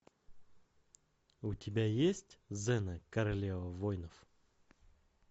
у тебя есть зена королева воинов